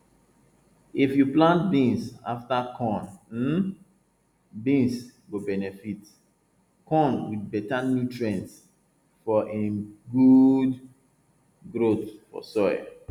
if you plant beans afta corn um beans go benefit corn with better nutrients for um good growth for soil